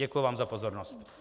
Děkuji vám za pozornost.